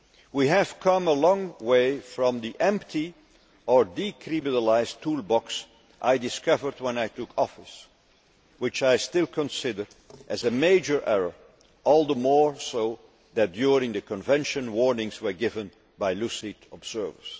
We have come a long way from the empty, and now discredited, toolbox I discovered when I took office which I still consider as a major error, all the more so that during the Convention warnings were given by lucid observers.